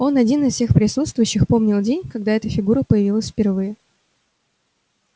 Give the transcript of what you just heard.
он один из всех присутствующих помнил день когда эта фигура появилась впервые